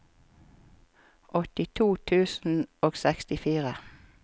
åttito tusen og sekstifire